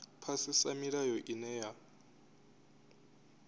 u phasisa milayo ine ya